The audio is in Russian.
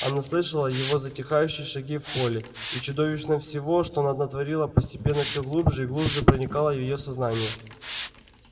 она слышала его затихающие шаги в холле и чудовищно всего что она натворила постепенно всё глубже и глубже проникала в её сознание